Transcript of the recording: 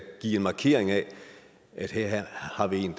give en markering af at her har vi en